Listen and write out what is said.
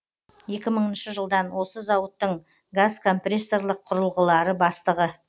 екі мыңыншы жылдан осы зауыттың газкомпрессорлық құрылғылары бастығы